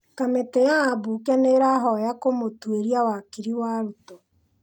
Kamĩtĩ ya ambunge nĩ ĩrahoya kũmũtwĩria wakiri wa Ruto.